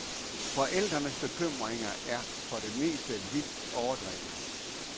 Forældrenes bekymringer er for det meste vildt overdrevne.